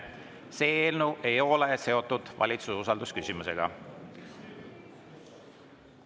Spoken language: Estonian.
See eelnõu ei ole seotud valitsuse usalduse küsimusega.